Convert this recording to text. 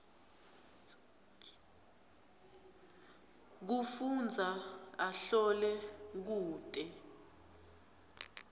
kufundza ahlole kute